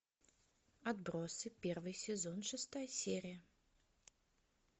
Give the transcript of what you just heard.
отбросы первый сезон шестая серия